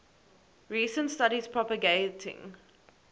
recent studies propagating